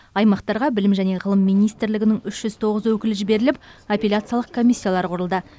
аймақтарға білім және ғылым министрлігінің үш жүз тоғыз өкілі жіберіліп апелляциялық комиссиялар құрылды